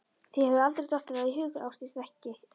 Þér hefur aldrei dottið það í hug Ásdís, ekki. ekki.